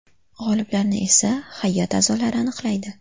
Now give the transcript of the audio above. G‘oliblarni esa hay’at a’zolari aniqlaydi.